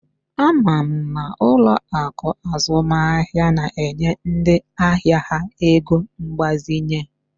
Ama m na ụlọ akụ azụmaahịa na-enye ndị ahịa ha ego mgbazinye